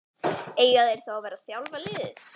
Eiga þeir þá að vera að þjálfa liðið?